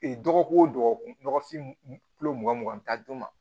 Ee dɔgɔkun o dɔgɔkun dɔgɔfinyan mugan mugan dun ma